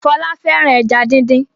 Fola fẹràn ejá dín dín.